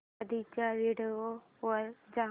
आधीच्या व्हिडिओ वर जा